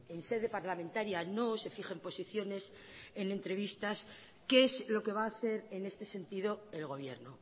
en sede parlamentaria no se fijen posiciones en entrevistas qué es lo que va a hacer en este sentido el gobierno